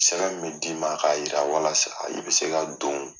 Sɛbɛn bɛ d'i ma k'a jira walasa i bɛ se ka don.